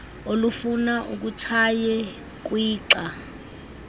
olufuna utshaye kwixa